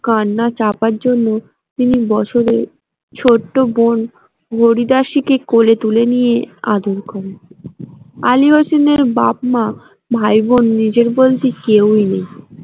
কান্না চাপার জন্য বছরে ছোট বোন হরি দাসীকে কোলে তুলে নিয়ে আদর করলেন আলী হোসেনের বাপ মা ভাই বোন নিজের বলতে কেউ নেই।